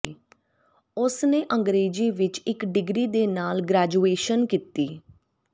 ਉਸਨੇ ਅੰਗਰੇਜ਼ੀ ਵਿੱਚ ਇੱਕ ਡਿਗਰੀ ਦੇ ਨਾਲ ਗ੍ਰੈਜੂਏਸ਼ਨ ਕੀਤੀ